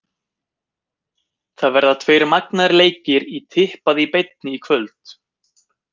Það verða tveir magnaðir leikir í tippað í beinni í kvöld.